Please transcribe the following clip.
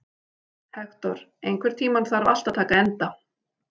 Hektor, einhvern tímann þarf allt að taka enda.